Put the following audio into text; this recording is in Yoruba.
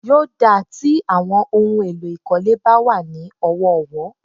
Yóò dáa tí àwọn ohun èlò ìkólé bá wà ní ọ̀wọ̀ọ̀wọ́.